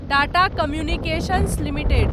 Tata communications limited